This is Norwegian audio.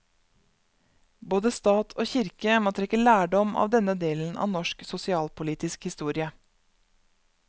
Både stat og kirke må trekke lærdom av denne delen av norsk sosialpolitisk historie.